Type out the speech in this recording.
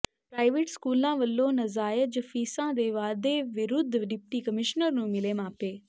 private ਸਕੂਲਾਂ ਵੱਲੋਂ ਨਜ਼ਾਇਜ ਫੀਸਾਂ ਦੇ ਵਾਧੇ ਵਿਰੁੱਧ ਡਿਪਟੀ ਕਮਿਸ਼ਨਰ ਨੂੰ ਮਿਲੇ ਮਾਪੇ